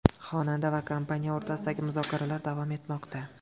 Xonanda va kompaniya o‘rtasidagi muzokaralar davom etmoqda.